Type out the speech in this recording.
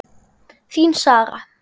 Þín Sara.